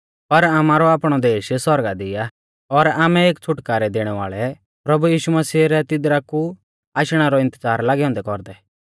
पर आमारौ आपणौ देश सौरगा दी आ और आमै एक छ़ुटकारै देणै वाल़ै प्रभु यीशु मसीह रै तिदरा कु आशणै रौ इन्तज़ार लागै औन्दै कौरदै